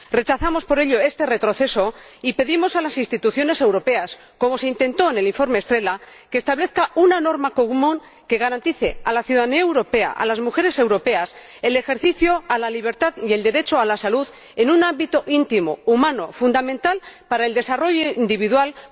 Rechazamos, por ello, este retroceso y pedimos a las instituciones europeas ―como se intentó en el informe Estrela― que establezcan una norma común que garantice a la ciudadanía europea, a las mujeres europeas, el ejercicio de la libertad y el derecho a la salud en un ámbito íntimo, humano, fundamental para el desarrollo individual como es la salud sexual y reproductiva.